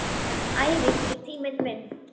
Æfing er tíminn minn.